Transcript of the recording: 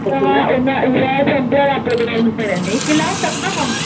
अग हा उन्हाळा उन्हाळा संपल्यावर लावून टाक ना म.